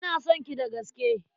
Ina son ki da gaske.